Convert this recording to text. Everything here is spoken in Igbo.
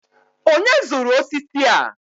onye zụrụ osisi a?